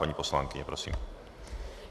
Paní poslankyně, prosím.